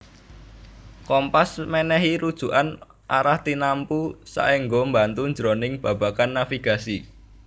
Kompas mènèhi rujukan arah tinamtu saéngga mbantu jroning babagan navigasi